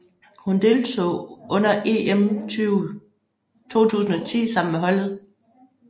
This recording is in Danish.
Hun deltog under EM 2010 sammen med holdet